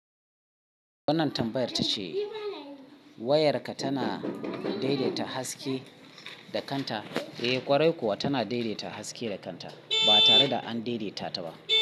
Wannan tambayar ta ce, wayarka tana daidaita haske da kanta? Eh ƙwarai kuwa tana daidaita haske da kanta ba tare da an daideta ta ba.